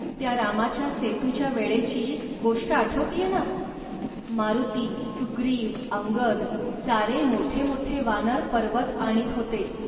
त्या रामाच्या सेतूच्या वेळेचीही नाही का गोष्ट. मारुती, सुग्रीव, अंगद सारे मोठेमोठे वानर पर्वत आणीत होते